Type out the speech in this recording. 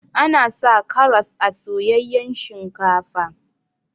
Ana sa karas a soyayyan shinkafa.